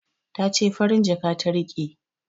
Ta ce farin jaka ta riƙe